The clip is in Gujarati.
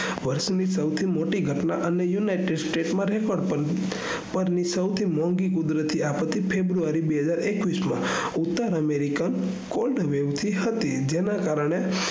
વર્ષ ની સૌથી મોટી ઘટના અને united states માંથી સૌથી મોઘીં કુદરતી આફતી february બેહજારએકવીસ માં ઉતર america coldvev થી થતી જેના કારને